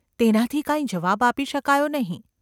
તેનાથી કાંઈ જવાબ આપી શકાયો નહિ.